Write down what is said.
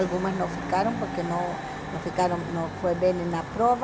Algumas não ficaram porque não não ficaram, não foi bem na prova.